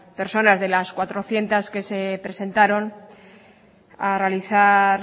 personas de las cuatrocientos que se presentaron a realizar